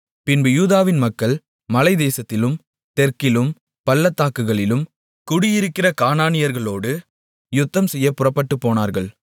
பின்பு யூதாவின் மக்கள் மலைத்தேசத்திலும் தெற்கிலும் பள்ளத்தாக்குகளிலும் குடியிருக்கிற கானானியர்களோடு யுத்தம்செய்யப் புறப்பட்டுப்போனார்கள்